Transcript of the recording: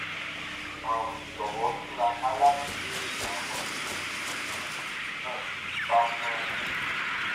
um jọwọ túraká láti béèrè àwọn ìbéèrè um mìíràn bí ó bá pọn dandan